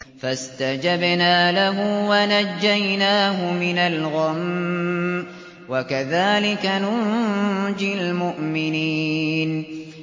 فَاسْتَجَبْنَا لَهُ وَنَجَّيْنَاهُ مِنَ الْغَمِّ ۚ وَكَذَٰلِكَ نُنجِي الْمُؤْمِنِينَ